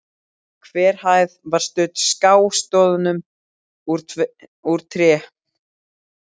Hver hæð var studd skástoðum úr tré.